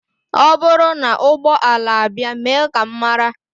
Ọ bụrụ na ụgbọ ala abịa mee ka m mara